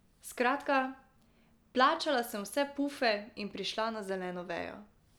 Skratka, plačala sem vse pufe in prišla na zeleno vejo.